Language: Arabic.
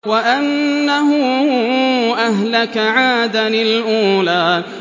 وَأَنَّهُ أَهْلَكَ عَادًا الْأُولَىٰ